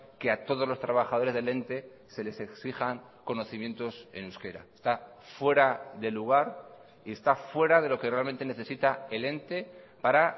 que a todos los trabajadores del ente se les exijan conocimientos en euskera está fuera de lugar y está fuera de lo que realmente necesita el ente para